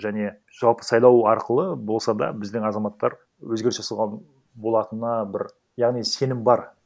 және жалпы сайлау арқылы болса да біздің азаматтар өзгеріс жасауға болатынына бір яғни сенім бар